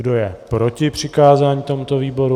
Kdo je proti přikázání tomuto výboru?